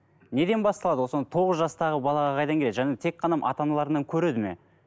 неден басталады ол сонда тоғыз жастағы балаға қайдан келеді және тек қана ата аналарынан көреді ме